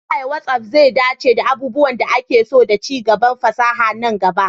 Ta yaya WhatsApp zai dace da abubuwan da ake so da ci gaban fasaha na gaba?